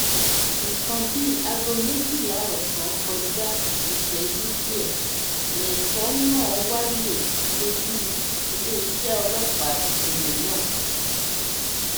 nǹkan bíi aago méjìlá ọsán kọjá ìṣẹjú díẹ lẹtọ náà wáyé lólu iléeṣẹ ọlọpàá ìpínlẹ náà